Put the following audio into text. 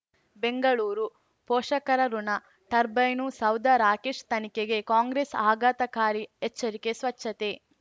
ಬೆಂಗಳೂರು ಪೋಷಕರಋಣ ಟರ್ಬೈನು ಸೌಧ ರಾಕೇಶ್ ತನಿಖೆಗೆ ಕಾಂಗ್ರೆಸ್ ಆಘಾತಕಾರಿ ಎಚ್ಚರಿಕೆ ಸ್ವಚ್ಛತೆ